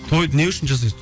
тойды не үшін жасайсың